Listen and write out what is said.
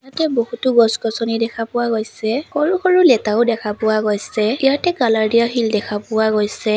ইয়াতে বহুতো গছ গছনি দেখা পোৱা গৈছে সৰু সৰু লেটাও দেখা পোৱা গৈছে ইয়াতে কালাৰ দিয়া শিল দেখা পোৱা গৈছে।